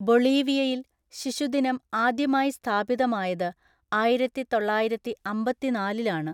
ബൊളീവിയയിൽ ശിശുദിനം ആദ്യമായി സ്ഥാപിതമായത് ആയിരത്തിതൊള്ളായിരത്തിഅമ്പത്തിനാലിലാണ്.